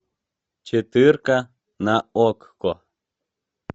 четыре к на окко